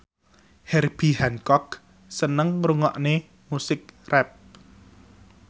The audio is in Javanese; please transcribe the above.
Herbie Hancock seneng ngrungokne musik rap